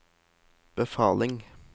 befaling